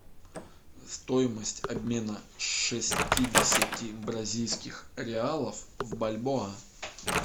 стоимость обмена шестидесяти бразильских реалов в бальбоа